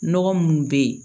Nɔgɔ munnu be yen